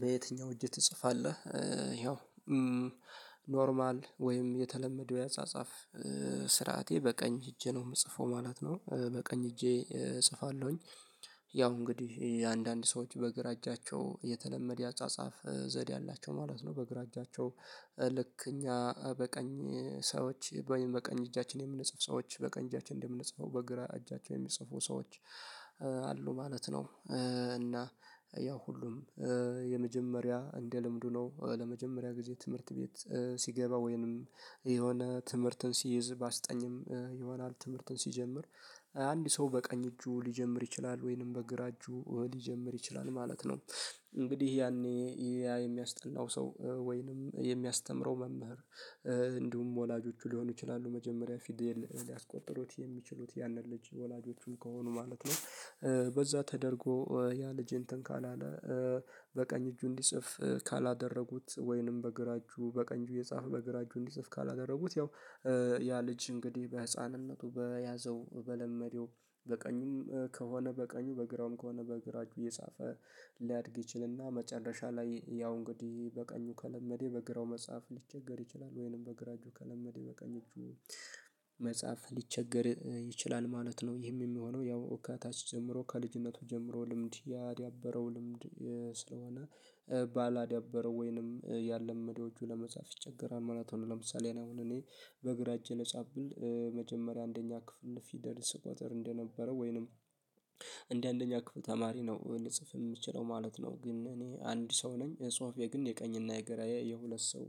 በየትኛው እጅ ትጽፋለህ? ይኸው ኖርማል ወይም የተለመደው የአጻጻፍ ስርዓቴ በቀኝ እጄ ነው የምጽፈው ማለት ነው። በቀኝ እጄ እጽፋለሁኝ ያው እንግዲህ አንዳንድ ሰዎች በግራ እጃቸው የተለመደ ያጻጻፍ ዘዴ አላቸው ማለት ነው። በግራ እጃቸው ልክ እኛ በቀኝ ሰዎች በቀኝ እጃችን የምንጽፍ ሰዎች በቀኝ እጃችን እንደምንጽፈው በግራ እጃቸው የሚጽፉ ሰዎች አሉ ማለት ነው። እና ያው ሁሉም የመጀመሪያ እንደ ልምዱ ነው ለመጀመሪያ ጊዜ ትምህርት ቤት ሲገባ ወይንም የሆነ ትምህርትን ሲይዝ ባስጠኝም ይሆናል ትምህርትን ሲጀምር። አንድ ሰው በቀኝ እጁ ሊጀምር ይችላል ወይንም በግራ እጁ ሊጀምር ይችላል ማለት ነው። እንግዲህ ያኔ ያ የሚያስጠናው ሰው ወይንም የሚያስተምረው መምህር እንዲሁም ወላጆቹ ሊሆኑ ይችላሉ መጀመሪያ ፊድል ሊያስቆጥሩት የሚችሉት ያንን ልጅ ወላጆቹ ከሆኑ ማለት ነው። በዛ ተደርጎ ያ ልጅ እንትን ካላለ በቀኝ እጁ እንዲጽፍ ካላደረጉት ወይንም በግራ እጁ በቀኝ እጁ የጻፈ በግራ እጁ እንዲጽፍ ካላደረጉት ያው። ያ ልጅ እንግዲህ በህፃንነቱ በያዘው በለመደው በቀኙም ከሆነ በቀኙ በግራውም ከሆነ በግራ እጁ እየጻፈ ሊያድግ ይችልና መጨረሻ ላይ ያው እንግዲህ በቀኙ ከለመደ በግራው መጽሐፍ ሊቸገር ይችላል ወይንም በግራ እጁ ከለመደ በቀኝ እጁ መጽሐፍ ሊቸገር ይችላል ማለት ነው። ይህም የሚሆነው ያው ከታች ጀምሮ ከልጅነቱ ጀምሮ ልምድ ያዳበረው ልምድ ስለሆነ ባላዳበረው ወይንም ያላመደው እጁ ለመጻፍ ይቸገራል ማለት ነው። ለምሳሌ አሁን እኔ በግራ እጄ ልጻፍ ብል መጀመሪያ አንደኛ ክፍል ፊደል ስቆጥር እንደነበረው ወይንም እንደ አንደኛ ክፍል ተማሪ ነው ልጽፍ የምችለው ማለት ነው። ግን እኔ አንድ ሰው ነኝ ጽሁፌ ግን የቀኝና የገራዬ የሁለት ሰው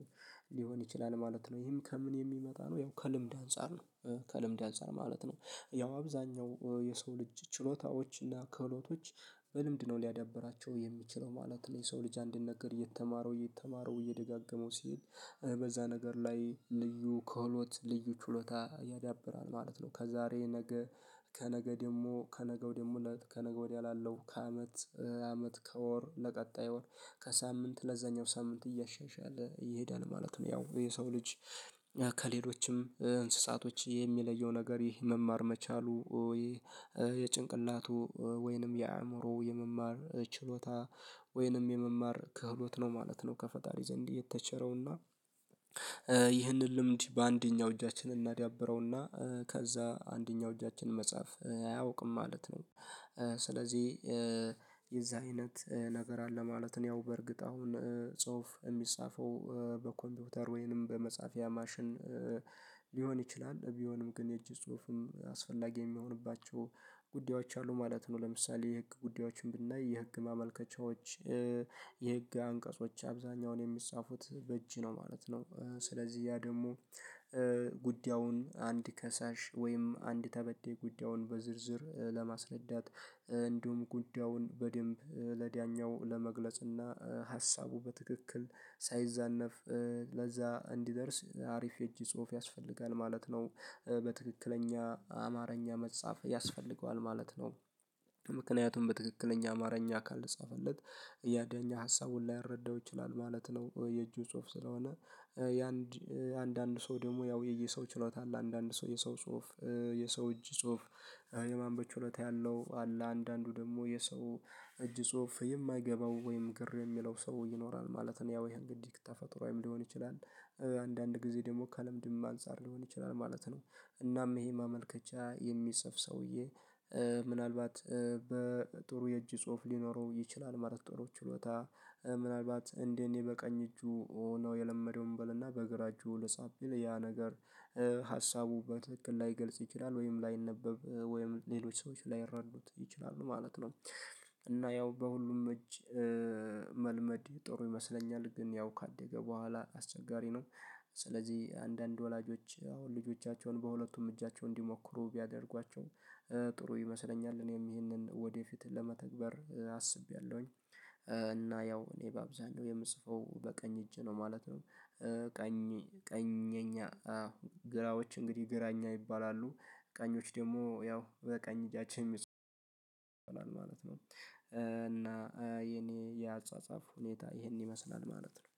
ሊሆን ይችላል ማለት ነው። ይህም ከምን የሚመጣ ነው ያው ከልምድ አንፃር ነው ከልምድ አንፃር ማለት ነው ያው አብዛኛው የሰው ልጅ ችሎታዎች እና ከህሎቶች በልምድ ነው ሊያዳብራቸው የሚችለው ማለት ነው። የሰው ልጅ አንድን ነገር እየተማረው እየተማረው እየደጋገመው ሲሄድ በዛ ነገር ላይ ልዩ ከህሎት ልዩ ችሎታ ያዳብራል ማለት ነው። ከዛሬ ነገ ከነገ ደግሞ ከነገው ደግሞ ከነገ ወዲያ ላለው ከአመት አመት ከወር ለቀጣይ ወር ከሳምንት ለዛኛው ሳምንት እያሻሻለ ይሄዳል ማለት ነው። ያው የሰው ልጅ ከሌሎችም እንስሳቶች የሚለየው ነገር ይሄ መማር መቻሉ ወይ የጭንቅላቱ ወይንም የአእምሮው የመማር ችሎታ ወይንም የመማር ክህሎት ነው ማለት ነው። ከፈጣሪ ዘንድ የተቸረውና ይህንን ልምድ በአንደኛው እጃችን እናዳብረውና ከዛ አንደኛው እጃችን መጻፍ አያውቅም ማለት ነው። ስለዚህ የዛ አይነት ነገር አለ ማለት ነው። ያው በእርግጥ አሁን ጽሁፍ የሚጻፈው በኮምፒውተር ወይንም በመጻፊያ ማሽን ሊሆን ይችላል ቢሆንም ግን የእጅ ጽሁፍም አስፈላጊ የሚሆንባቸው ጉዳዮች አሉ ማለት ነው። ለምሳሌ የህግ ጉዳዮችን ብናይ የህግ ማመልከቻዎች የህግ አንቀጾች አብዛኛውን የሚጻፉት በእጅ ነው ማለት ነው። ስለዚህ ያ ደግሞ ጉዳዩን አንድ ከሳሽ ወይም አንድ ተበዳይ ጉዳዩን በዝርዝር ለማስረዳት እንዲሁም ጉዳዩን በደንብ ለዳኛው ለመግለጽና ሀሳቡ በትክክል ሳይዛነፍ ለዛ እንዲደርስ አሪፍ የእጅ ጽሁፍ ያስፈልጋል ማለት ነው። በትክክለኛ አማርኛ መጻፍ ያስፈልገዋል ማለት ነው። ምክንያቱም በትክክለኛ አማርኛ ካልተጻፈለት ያ ዳኛ ሀሳቡን ላይረዳው ይችላል ማለት ነው። የእጅ ጽሁፍ ስለሆነ። ለአንድ አንድ ሰው ደግሞ ያው የየሰው ችሎታ አለ አንዳንድ ሰው የሰው ጽሁፍ የሰው እጅ ጽሁፍ የማንበብ ችሎታ ያለው አለ አንዳንዱ ደግሞ የሰው እጅ ጽሁፍ የማይገባው ወይም ግር የሚለው ሰው ይኖራል ማለት ነው። ያው ይሄ እንግዲህ ተፈጥሮአዊም ሊሆን ይችላል አንዳንድ ጊዜ ደግሞ ከልምድም አንፃር ሊሆን ይችላል ማለት ነው። እናም ይሄ ማመልከቻ የሚጽፍ ሰውዬ ምናልባት በጥሩ የእጅ ጽሁፍ ሊኖረው ይችላል ማለት ጥሩ ችሎታ ምናልባት እንደ እኔ በቀኝ እጁ ሆኖ የለመደው እንበልና በግራ እጁ ለጻፍ ቢል ያ ነገር ሀሳቡ በትክክል ላይገልጽ ይችላል ወይም ላይነበብ ወይም ሌሎች ሰዎች ላይረዱት ይችላሉ ማለት ነው። እና ያው በሁሉም እጅ መልመድ ጥሩ ይመስለኛል ግን ያው ካደገ በኋላ አስቸጋሪ ነው። ስለዚህ አንዳንድ ወላጆች አሁን ልጆቻቸውን በሁለቱም እጃቸው እንዲሞክሩ ቢያደርጓቸው ጥሩ ይመስለኛል እኔም ይሄንን ወደፊት ለመተግበር አስቤያለሁኝ። እና ያው እኔ በአብዛኛው የምጽፈው በቀኝ እጅ ነው ማለት ነው። ቀኝ ቀኘኛ አው ግራዎች እንግዲህ ግራኛ ይባላሉ ቀኞች ደግሞ ያው በቀኝ እጃቸው ይሆናል ማለት ነው። እና የኔ የአጻጻፍ ሁኔታ ይሄን ይመስላል ማለት ነው